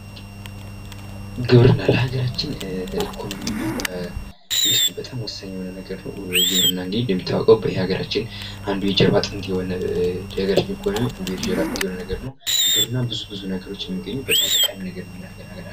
ግብርና የሰው ልጅ የምግብ ፍላጎትን ለማሟላት የሚያከናውነው የእርሻና የእንስሳት እርባታን ያካተተ ሰፊ የኢኮኖሚ ዘርፍ ነው።